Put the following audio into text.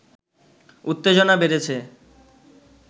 উত্তেজনা বেড়েছে